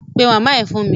Pe màmá ẹ fún mi!